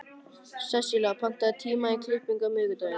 Sesselía, pantaðu tíma í klippingu á miðvikudaginn.